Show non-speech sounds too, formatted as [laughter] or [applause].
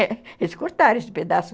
[laughs] Eles cortaram esse pedaço.